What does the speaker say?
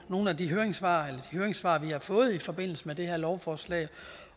nogle af de høringssvar høringssvar vi har fået i forbindelse med det her lovforslag